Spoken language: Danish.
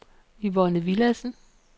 Yvonne Villadsen